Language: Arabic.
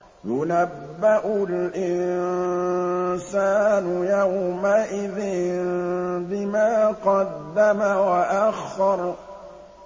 يُنَبَّأُ الْإِنسَانُ يَوْمَئِذٍ بِمَا قَدَّمَ وَأَخَّرَ